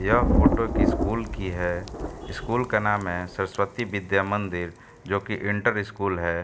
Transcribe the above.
यह फोटो एक स्कूल की है। स्कूल का नाम है सरस्वती विद्या मंदिर जो कि इंटर स्कूल है।